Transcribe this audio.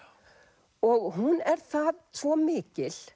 og hún er svo mikil